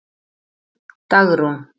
Dagrún